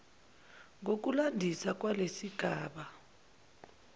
ngokulandisa kwalesi sigaba